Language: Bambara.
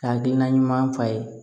Ka hakilina ɲuman f'a ye